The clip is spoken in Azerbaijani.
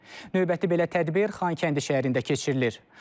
Növbəti belə tədbir Xankəndi şəhərində keçirilir.